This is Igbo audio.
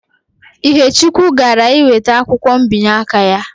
Ihechukwu gara iweta akwụkwọ mbinye aka ya